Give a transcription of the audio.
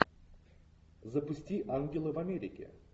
запусти ангелы в америке